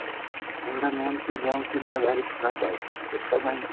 ଏଗୁଡା main ସେଇ bones ପାଇଁ ବହୁତ ଖରାପ ଆଉ ପେଟ ପାଇଁ।